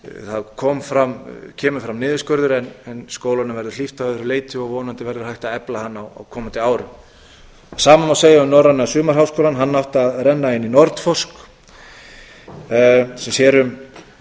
það kemur fram niðurskurður en skólanum verður hlíft að öðru leyti og vonandi verður hægt að efla hann á komandi árum það sama má segja um norræna sumarháskólann hann átti að renna inn í nordforsk sem sér um